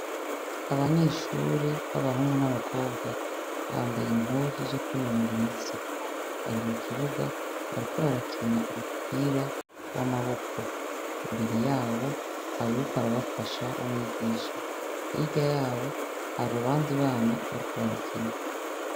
Abanyeshure b'abahungu n'abakobwa bambaye impuzu zo kwinonora imitsi bari mu kibuga bariko barakina umupira w'amaboko imbere yabo har uriko arabafasha umwigisha irya yabo haru abandi bana bariko barakina.